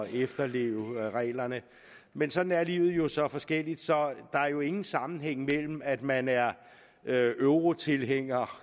efterleve reglerne man sådan er livet jo så forskelligt der er jo ingen sammenhæng mellem at man er er eu tilhænger